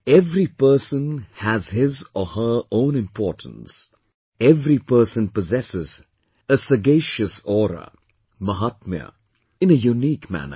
Every person has his or her own importance, every person possesses a sagacious aura, Mahaatmya, in a unique manner